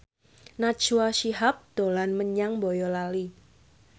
Najwa Shihab dolan menyang Boyolali